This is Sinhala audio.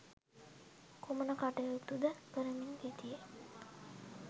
කුමන කටයුතුද කරමින් හිටියේ?